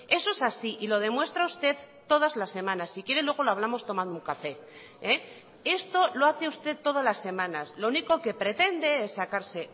eso es así y lo demuestra usted todas las semanas si quiere luego lo hablamos tomando un café esto lo hace usted todas las semanas lo único que pretende es sacarse